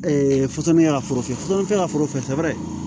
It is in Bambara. fɔtɔnni ya ka foro fɛ fɔlikɛ ka foro fɛɛrɛ